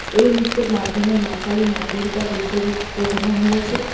এই নিত্যের মাধ্যমে মা কালী মা দুর্গার রুদ্ররূপ বোঝানো হয়েছে।